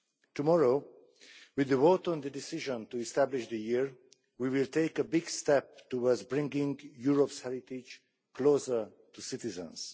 Tomorrow, with the vote on the decision to establish the year, we will take a big step towards bringing Europe's heritage closer to citizens.